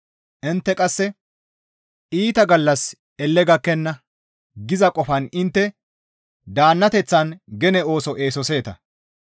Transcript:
Intte qasse, «Iita gallassi elle gakkenna» giza qofan intte daannateththan gene ooso eesoseeta.